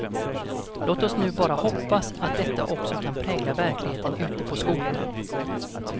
Låt oss nu bara hoppas att detta också kan prägla verkligheten ute på skolorna.